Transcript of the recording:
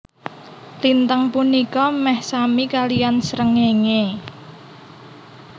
Lintang punika meh sami kaliyan srengenge